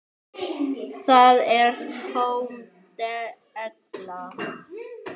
Það er tóm della.